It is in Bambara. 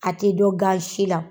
A tɛ dɔn gansi la.